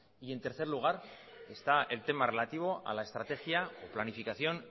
y en tercer lugar está el tema relativo a la estrategia planificación